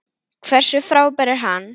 Hversu frábær er hann?